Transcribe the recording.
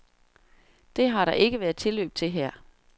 Det har der ikke været tilløb til her.